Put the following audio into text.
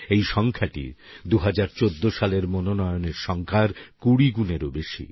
এই সংখ্যাটি ২০১৪ সালের মনোনয়নের সংখ্যার কুড়ি গুণেরও বেশী